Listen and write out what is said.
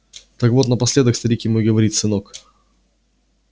так вот напоследок старик ему и говорит сынок